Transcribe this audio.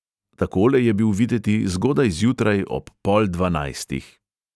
Takole je bil videti zgodaj zjutraj ob pol dvanajstih.